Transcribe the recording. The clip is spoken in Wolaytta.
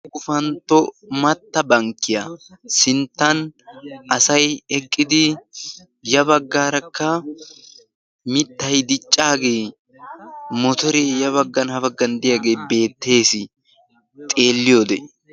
Gufantto matta bankkiya sinttan asayi eqqidi ya baggaarakka mittayi diccaagee motoree ya baggan ha baggan diyagee beettes xeelliyode.